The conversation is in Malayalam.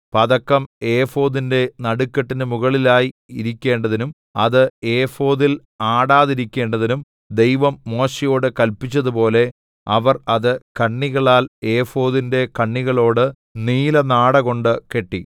പതക്കം ഏഫോദിന്റെ നടുക്കെട്ടിന് മുകളിലായി ഇരിക്കണ്ടതിനും അത് ഏഫോദിൽ ആടാതിരിക്കണ്ടതിനും ദൈവം മോശെയോട് കല്പിച്ചതുപോലെ അവർ അത് കണ്ണികളാൽ ഏഫോദിന്റെ കണ്ണികളോട് നീലനാടകൊണ്ട് കെട്ടി